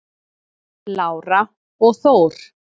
Lára og Þór.